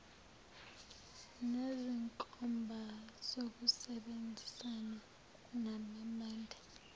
nezinkomba zokusebenzisana nababambe